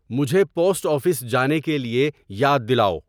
مجھے post office جانے کے لیے یاد دلاؤ